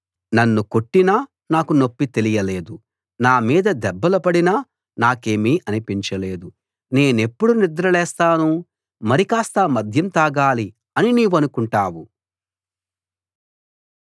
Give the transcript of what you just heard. నన్ను కొట్టినా నాకు నొప్పి తెలియలేదు నామీద దెబ్బలు పడినా నాకేమీ అనిపించలేదు నేనెప్పుడు నిద్ర లేస్తాను మరికాస్త మద్యం తాగాలి అని నీవనుకుంటావు